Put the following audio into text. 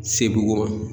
Sebukɔrɔ